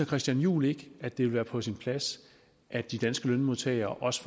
christian juhl ikke at det vil være på sin plads at de danske lønmodtagere også